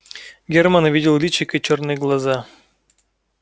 германн увидел личико и чёрные глаза